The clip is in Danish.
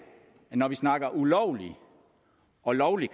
at vi når vi snakker om ulovlig og lovlig